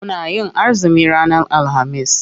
Muna yin azumi ranar alhamis.